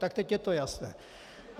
Tak teď je to jasné.